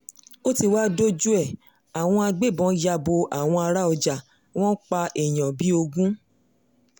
ó ti wáá dojú ẹ̀ àwọn agbébọn ya bo àwọn ará ọjà wọn pa èèyàn bíi ogún